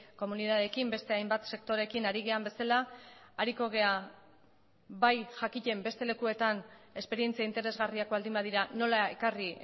komunitateekin beste hainbat sektoreekin ari garen bezala ariko gara bai jakiten beste lekuetan esperientzia interesgarriak baldin badira nola ekarri